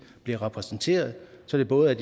bliver repræsenteret så det både er